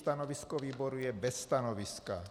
Stanovisko výboru je - bez stanoviska.